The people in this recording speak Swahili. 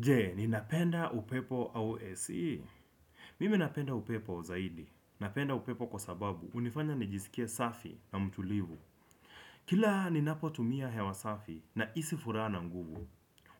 Jee, ninapenda upepo au AC? Mimi napenda upepo zaidi. Napenda upepo kwa sababu hunifanya nijisikie safi na mtulivu. Kila ninapotumia hewa safi nahisi furaha na nguvu.